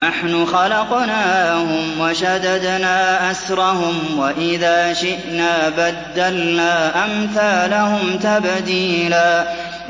نَّحْنُ خَلَقْنَاهُمْ وَشَدَدْنَا أَسْرَهُمْ ۖ وَإِذَا شِئْنَا بَدَّلْنَا أَمْثَالَهُمْ تَبْدِيلًا